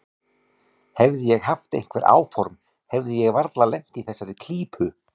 Hefði ég haft einhver áform hefði ég varla lent í þessari klípu.